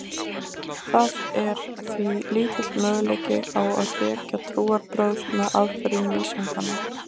Það er því lítill möguleiki á að hrekja trúarbrögð með aðferðum vísindanna.